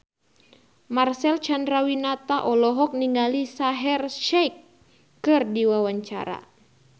Marcel Chandrawinata olohok ningali Shaheer Sheikh keur diwawancara